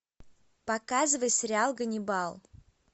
показывай сериал ганнибал